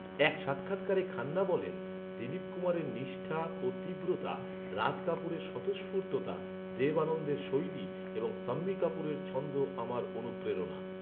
এক সাক্ষাৎকারে খান্না বলেন, “দিলীপ কুমারের নিষ্ঠা ও তীব্রতা, রাজ কাপুরের স্বতঃস্ফূর্ততা, দেব আনন্দের শৈলী এবং শাম্মী কাপুরের ছন্দ আমার অনুপ্রেরণা।